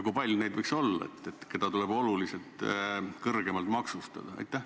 Kui palju neid võiks olla, keda tuleb oluliselt kõrgemalt maksustada?